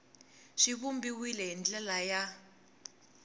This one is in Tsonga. swi vumbiwile hi ndlela ya